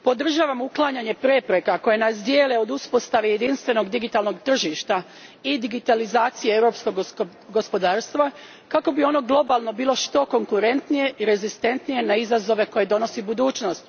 Gospodine predsjedniče, podržavam uklanjanje prepreka koje nas dijele od uspostave jedinstvenog digitalnog tržišta i digitalizacije europskog gospodarstva kako bi ono globalno bilo što konkurentnije i rezistentnije na izazove koje donosi budućnost.